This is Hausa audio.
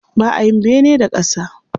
Ba a yin bene da ƙasa.